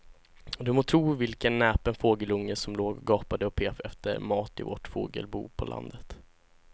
Du må tro vilken näpen fågelunge som låg och gapade och pep efter mat i vårt fågelbo på landet.